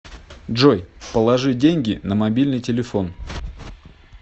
джой положи деньги на мобильный телефон